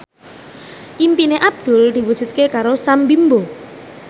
impine Abdul diwujudke karo Sam Bimbo